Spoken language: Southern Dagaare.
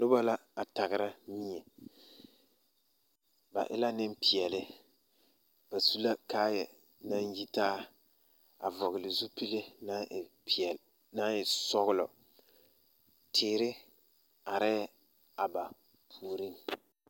Noba la a taɡera mie ba e la nemleɛle ba su la kaayɛɛ naŋ yitaa a vɔɡele zupile naŋ e sɔɡelɔ teere arɛɛ a ba puoriŋ.